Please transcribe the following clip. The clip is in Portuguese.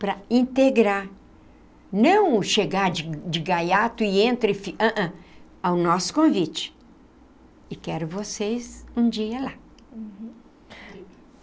para integrar, não chegar de de gaiato e entra e fica, não, não, ao nosso convite e quero vocês um dia lá. Uhum.